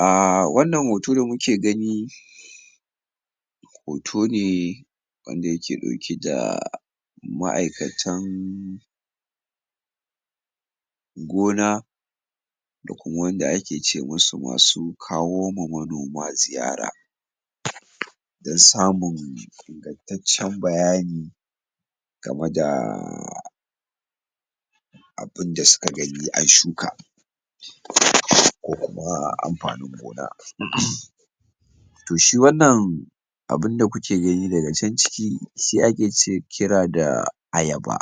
um Wannan hoto da muke gani hoto ne wanda yake ɗauke da ma'aikatan gona, da kuma wanda ake ce ma su masu kawo ma manoma ziyara, dan samun ingantaccen bayani gama da abunda suka gani a shuka ko kuma amfanin gona um Toh, shi wannan abunda kuke gani daga can ciki shi ake ce kira da ayaba,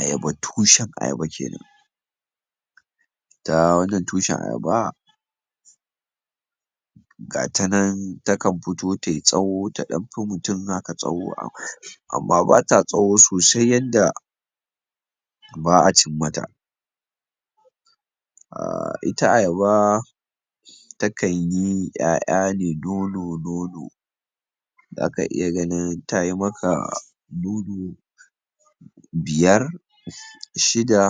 ayaba tushen ayaba kenan. Ita wannan tushen ayaba, gata nan ta kan futo tai tsawo, ta ɗan fi mutum haka tsawo amma bata tsawo sosai yadda ba'a cimmata. um Ita ayaba, ta kan yi ƴaƴa ne dodo-dodo, zaka iya ganin tayi maka um dodo biyar, shida,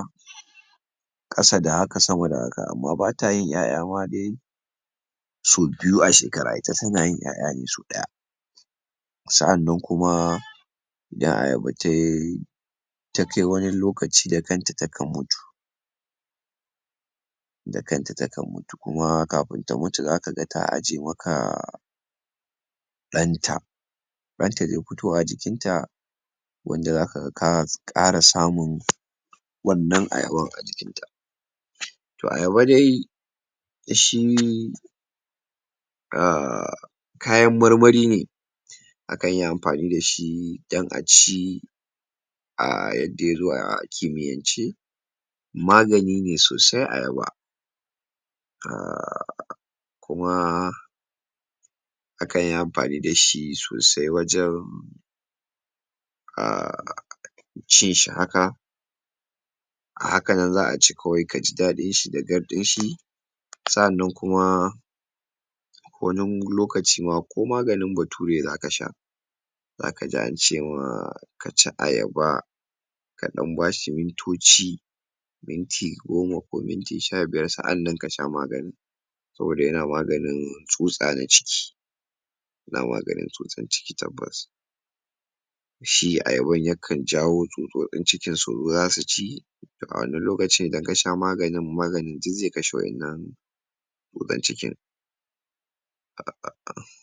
ƙasa da haka, sama da haka, amma bada yin ƴaƴa ma dai so biyu a shekara, ita tana yin ƴaƴa ne sau ɗaya. Sa'annan kuma, da ayaba tai ta kai wani lokaci, da kanta ta kan mutu, da kanta ta kan mutu, kuma kafun ta mutu za kaga ta aje maka um ɗan ta, ɗanta ze futo a jikin ta, wanda za kaga ka ƙara samun wannan ayaban a jikin ta. Toh, ayaba dai shi um kayan marmari ne, a kan yi amfani dashi dan a ci, um yadda yazo a kimiyyance, magani ne sosai ayaba, um kuma a kan yi amfani dashi sosai wajan um cin shi haka, a haka nan za'a ci kawai kaji daɗin shi da garɗin shi. Sa'annan kuma wanun lokaci ma ko maganin bature za ka sha, za kaji an ce ma ka ci ayaba, ka ɗan bashi mintoci, minti goma ko minti sha biyar, sa'annan kasha maganin, saboda yana maganin tsutsa na ciki, yana maganin tsutsan ciki tabbas. Shi ayaban, ya kan jawo tsutsotsin ciki suzo zasu ci, toh a wannan lokacin da ka sha maganin maganin duk zai kashe wa'innan tsutsan cikin. um